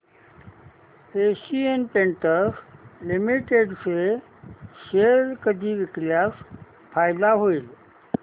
Asian Paints Limited चे share कधी विकल्यास फायदा होईल